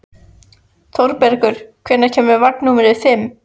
Þorbergur, hvenær kemur vagn númer fimm?